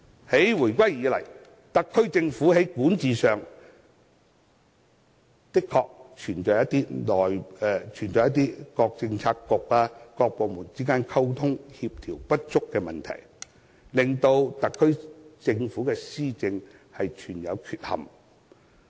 自回歸以來，特區政府在管治上的確存在各政策局、各部門之間溝通、協調不足的問題，令施政存有缺憾。